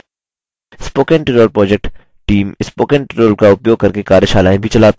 spoken tutorial project team spoken tutorial का उपयोग करके कार्यशालाएँ भी चलाते हैं